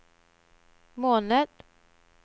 måned